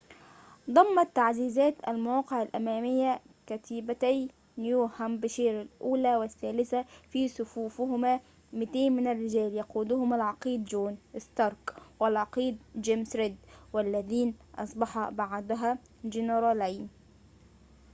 ضمّت تعزيزات المواقع الأمامية كتيبتي نيوهامبشير الأولى والثالثة في صفوفهما 200 من الرجال يقودهم العقيد چون ستارك والعقيد چيمس ريد والذين أصبحا بعدها جنرالين